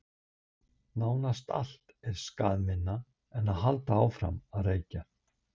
nánast allt er skaðminna en að halda áfram að reykja